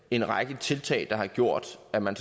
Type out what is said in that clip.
en række tiltag der har gjort at man